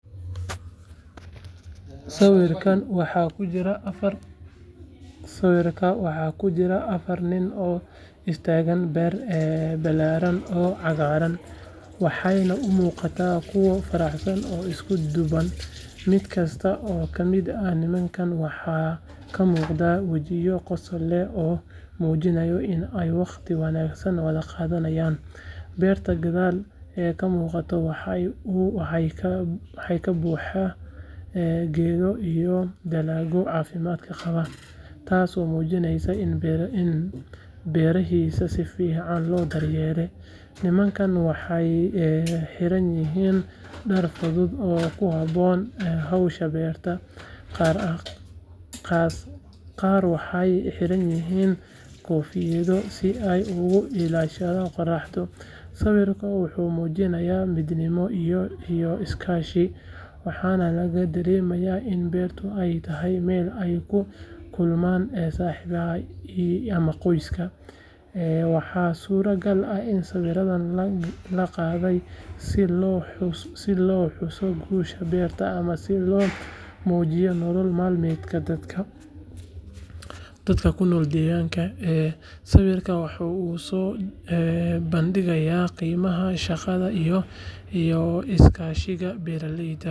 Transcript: Sawirkan waxaa ku jira afar nin oo istaaga beer ballaaran oo cagaaran, waxayna u muuqdaan kuwo faraxsan oo isku duuban. Mid kasta oo ka mid ah nimanka waxaa ka muuqda wejiyo qosol leh oo muujinaya in ay wakhti wanaagsan wada qaadanayaan. Beeraha gadaal ka muuqda waxay ka buuxaan geedo iyo dalagyo caafimaad qaba, taasoo muujinaysa in beerahaasi si fiican loo daryeelay. Nimankan waxay xiranyihiin dhar fudud oo ku habboon hawsha beerta, qaar waxay xiranyihiin koofiyado si ay uga ilaaliyaan qoraxda. Sawirku wuxuu muujinayaa midnimo iyo iskaashi, waxaana laga dareemayaa in beertu ay tahay meel ay ku kulmaan saaxiibo ama qoys. Waxaa suuragal ah in sawirkan loo qaaday si loo xuso guusha beerta ama si loo muujiyo nolol maalmeedka dadka ku nool deegaankaas. Sawirkan waxa uu soo bandhigayaa qiimaha shaqada iyo iskaashiga beeralayda oo muhiim.